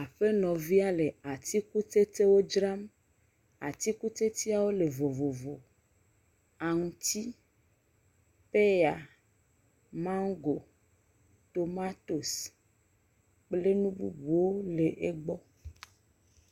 Aƒenɔvia le atikutsetsewo dra. Atikutsetseawo le vovovo. Aŋuti, pɛya, mago, tomatosi, kple nu bubuwo le egbɔ.